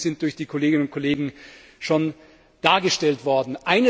Die Vorschläge sind von den Kolleginnen und Kollegen schon dargestellt worden.